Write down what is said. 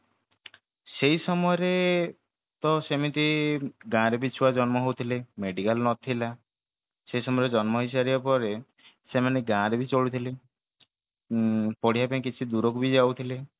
ସେଇ ସମୟରେ ତ ସେମିତି ଗାଁ ରେ ବି ଛୁଆ ଜନ୍ମ ହଉଥିଲେ medical ନଥିଲା ସେ ସମୟରେ ଜନ୍ମ ହେଇସାରିଲା ପରେ ସେମାନେ ଗାଁ ରେ ବି ଚଳୁଥିଲେ ଉଁ ପଢିବା ପାଇଁ କିଛି ଦୂରକୁ ବି ଯାଉଥିଲେ